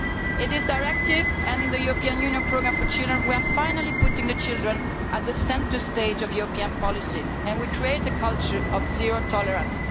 In this directive and in the European Union Programme for Children we are finally putting children at the centre of European policy and creating a culture of zero tolerance.